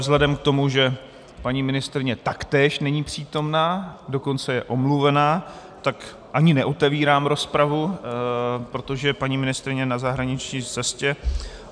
Vzhledem k tomu, že paní ministryně taktéž není přítomna, dokonce je omluvena, tak ani neotevírám rozpravu, protože paní ministryně je na zahraniční cestě.